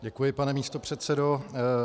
Děkuji, pane místopředsedo.